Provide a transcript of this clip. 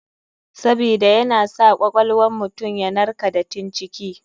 Sabida yana sa kwakwal wan mutum yanarka datin ciki.